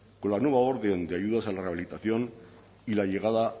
con la nueva orden de ayudas a la rehabilitación y la llegada